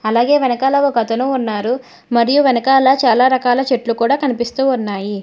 అలాగే వెనకాల ఒక అతను ఉన్నారు మరియు వెనకాల చాలా రకాల చెట్లు కూడా కనిపిస్తూ ఉన్నాయి.